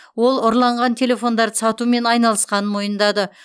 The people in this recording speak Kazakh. ол ұрланған телефондарды сатумен айналысқанын мойындады